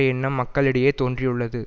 எண்ணம் மக்ளிடையே தோன்றியுள்ளது